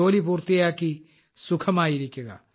ജോലി പൂർത്തിയാക്കി സുഖമായിരിക്കുക